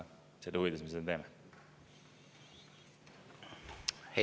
Selle huvides me seda teeme.